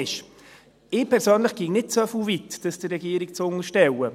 Ich persönlich würde nicht so weit gehen, dies der Regierung zu unterstellen.